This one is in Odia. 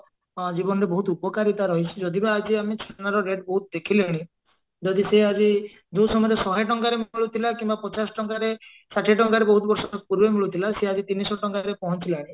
ଅ ଜୀବନରେ ବହୁତ ଉପକାରିତା ରହିଛି ଯଦି ବା ଆଜି ଆମେ ଛେନାର rate ବହୁତ ଦେଖିଲେଣି ଯଦି ସେ ଆଜି ଯଉ ସମୟରେ ଶହେ ଟଙ୍କାରେ ବି ମିଳୁଥିଲା କିମ୍ବା ପଚାଶ ଟଙ୍କାରେ ଷାଠିଏ ଟଙ୍କାରେ ବହୁତ ବର୍ଷ ପୂର୍ବେ ମିଳୁଥିଲା ସିଏ ଆଜି ତିନିଶହ ଟଙ୍କାରେ ପହଞ୍ଚିଲାଣି